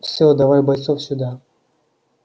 всё давай бойцов сюда